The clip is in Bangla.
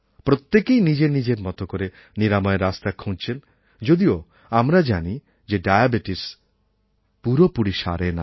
প্রত্যেকেই নিজের নিজের মতো করে নিরাময়ের রাস্তা খুঁজছেন যদিও আমরা জানি যে ডায়াবেটিস পুরোপুরি সারে না